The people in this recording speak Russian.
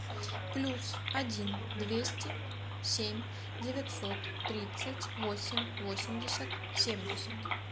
плюс один двести семь девятьсот тридцать восемь восемьдесят семьдесят